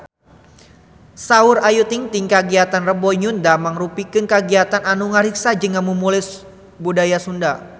Saur Ayu Ting-ting kagiatan Rebo Nyunda mangrupikeun kagiatan anu ngariksa jeung ngamumule budaya Sunda